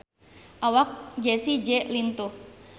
Awak Jessie J lintuh